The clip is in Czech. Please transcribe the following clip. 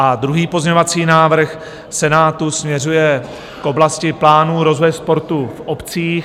A druhý pozměňovací návrh Senátu směřuje k oblasti plánu, rozvoje sportu v obcích.